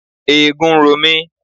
Eegun ń ro mi.